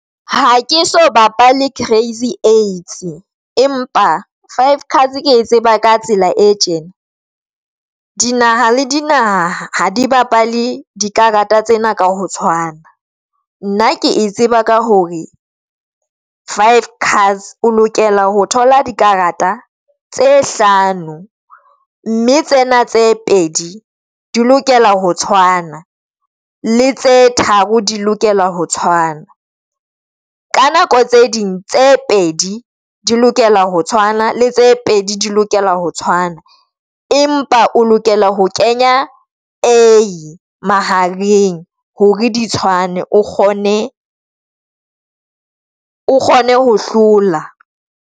Ha ke se bapale Crazy Eights, empa Five Cards ke tseba ka tsela e tjena dinaha le dinaha di bapale dikarata tsena ka ho tshwana nna ke e tseba ka hore Five Cards o lokela ho thola dikarata tse hlano mme tsena tse pedi di lokela ho tshwana le tse tharo di lokela ho tshwana. Ka nako tse ding tse pedi di lokela ho tshwana le tse pedi di lokela ho tshwana. Empa o lokela ho kenya A mahareng hore di tshwane o kgone o kgone ho hlola.